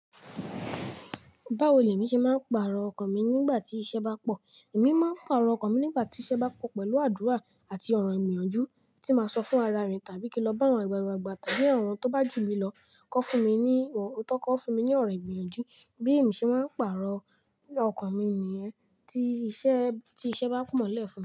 Báwo ni èmi ṣe máa ń parò ọkàn mi nígbà tí iṣẹ́ bá pọ̀? Èmi máa ń parò ọkàn mi nígbà tí iṣẹ́ bá pọ̀ pẹ̀lú àdúrà àti ọ̀rọ̀ ìgbìyànjú tí màá sọ fún ara mi, tàbí kí n lọ bá àwọn àgbàgbà tàbí àwọn tó bá jù mi lọ kọ́ fun mi ní, tọ́ kọ́ fun mi ní ọ̀rọ̀ ìgbìyànjú. Bí èmi ṣe máa ń parò ọkàn mi nìyẹn tí iṣẹ́, tí iṣẹ́ bá pọ̀ nílẹ̀ fún mi.